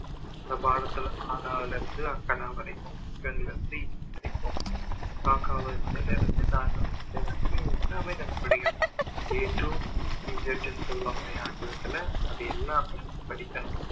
அந்த பாடத்துல ஆனால் அதுலருந்து ஃ க்கனா வரைக்கும் படிப்போம் பார்க்காம எனக்கு வந்து இது தான் இது வந்து எல்லாமே எனக்கு பிடிக்கும் A to Z னு சொல்லுவாங்க இல்லையா ஆங்கிலத்துல அது எல்லாமே படிக்கணும்